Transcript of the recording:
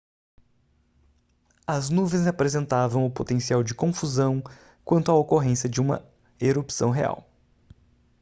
as nuvens apresentavam o potencial de confusão quanto à ocorrência de uma erupção real